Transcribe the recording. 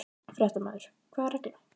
Fréttamaður: Hvaða regla?